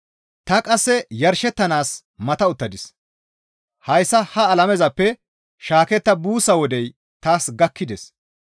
Ta qasse yarshettanaas mata uttadis; hayssa ha alamezappe shaaketta buussa wodey taas gakkides.